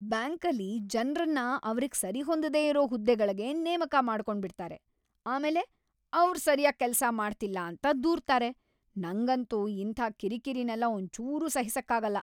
ಬ್ಯಾಂಕಲ್ಲಿ ಜನ್ರನ್ನ ಅವ್ರಿಗ್‌ ಸರಿಹೊಂದದೇ ಇರೋ ಹುದ್ದೆಗಳ್ಗೆ ನೇಮಕ ಮಾಡ್ಕೊಂಡ್ಬಿಡ್ತಾರೆ, ಆಮೇಲೆ ಅವ್ರ್ ಸರ್ಯಾಗ್‌ ಕೆಲ್ಸ ಮಾಡ್ತಿಲ್ಲ ಅಂತ ದೂರ್ತಾರೆ, ನಂಗಂತೂ ಇಂಥ ಕಿರಿಕಿರಿನೆಲ್ಲ ಒಂಚೂರೂ ಸಹಿಸಕ್ಕಾಗಲ್ಲ.